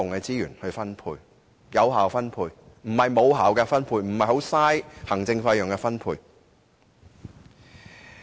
我所說的是有效分配，而非無效的分配，浪費行政費用的分配。